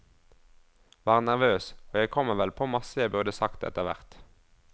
Var nervøs, og jeg kommer vel på masse jeg burde sagt etter hvert.